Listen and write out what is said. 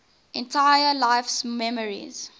entire life's memories